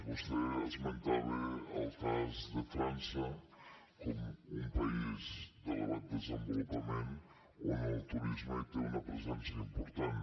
vostè esmentava el cas de frança com un país d’elevat desenvolupament on el turisme té una presència important